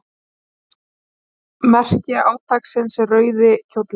Merki átaksins er rauði kjóllinn.